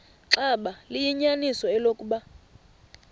xaba liyinyaniso eloku